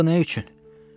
Axı nə üçün?